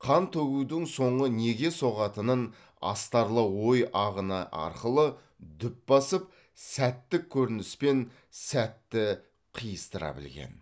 қан төгудің соңы неге соғатынын астарлы ой ағыны арқылы дүп басып сәттік көрініспен сәтті қиыстыра білген